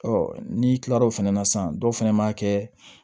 n'i kila l'o fɛnɛ na sisan dɔw fɛnɛ b'a kɛ